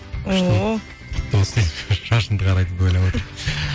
ооо күшті шашыңды қарайтуды ойлап отыр